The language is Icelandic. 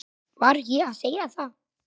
Var ég að segja það?